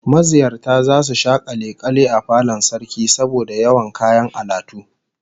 Maziyarta zasu sha kalle kalle a falon Sarkin saboda yawan kayan alatu